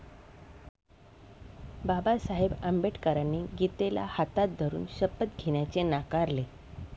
बाबासाहेब अंबेडकरांनी गीतेला हातात धरून शपथ घेण्याचे नाकारले.